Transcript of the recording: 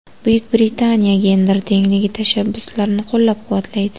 Buyuk Britaniya gender tengligi tashabbuslarini qo‘llab-quvvatlaydi.